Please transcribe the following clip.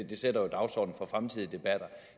det sætter jo dagsordenen for fremtidige debatter